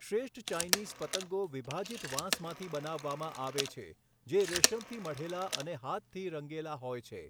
શ્રેષ્ઠ ચાઈનીઝ પતંગો વિભાજિત વાંસમાંથી બનાવવામાં આવે છે, જે રેશમથી મઢેલા અને હાથથી રંગેલા હોય છે.